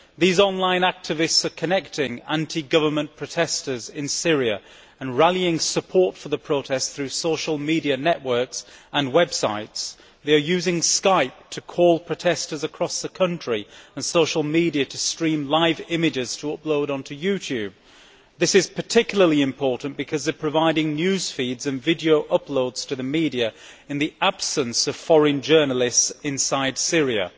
These online activists are connecting anti government protestors in Syria and rallying support for the protest through social media networks and websites. They are using Skype to call protestors across the country and social media to stream live images to upload onto YouTube. This is particularly important, because they are providing news feeds and video uploads to the media in the absence of foreign journalists inside Syria.